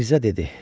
Mirzə dedi: